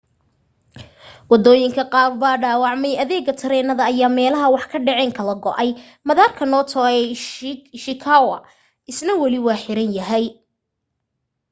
waddooyinka qaar baa dhaawacmay adeega tareenada ayaa meelaha wax ka dhaceen kala go'ay madaarka noto ee ishikawa isna wali waa xiran yahay